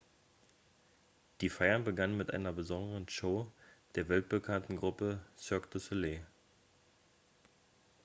die feiern begannen mit einer besonderen show der weltbekannten gruppe cirque du soleil